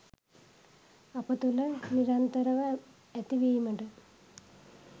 අප තුළ නිරන්තරව ඇතිවීමට